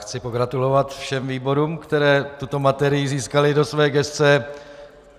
Chci pogratulovat všem výborům, které tuto materii získaly do své gesce.